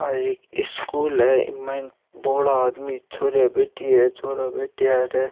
आ यह एक स्कूल है इ माइन बोड़ा आदमी छोरीया बैठी है छोरा बैठया है अठे।